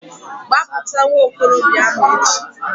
Gbapụta nwa okorobịa ahu echi!